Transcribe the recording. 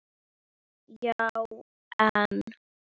Já, en.